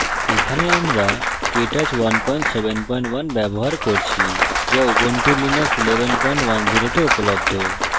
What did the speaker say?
এখানে আমরা ubuntu linux 1110 we কেটচ 171 ব্যবহার করছি